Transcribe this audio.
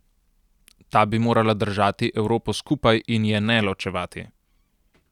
Ta bi morala držati Evropo skupaj in je ne ločevati.